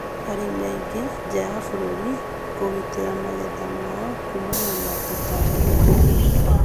arĩmi aingĩ nja ya bũrũri kũgitĩra magetha mao kũmana na tũtambi na mĩrimũ